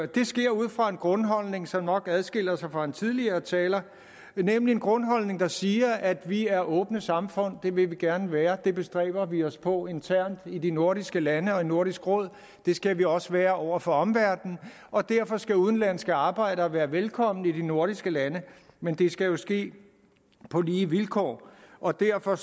det sker ud fra en grundholdning som nok adskiller sig fra den tidligere talers nemlig en grundholdning der siger at vi er åbne samfund det vil vi gerne være det bestræber vi os på internt i de nordiske lande og i nordisk råd det skal vi også være over for omverdenen og derfor skal udenlandske arbejdere være velkomne i de nordiske lande men det skal jo ske på lige vilkår og derfor